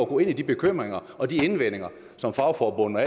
gå ind i de bekymringer og de indvendinger som fagforbundene